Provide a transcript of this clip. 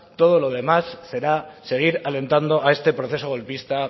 todo lo demás será seguir alentando a este proceso golpista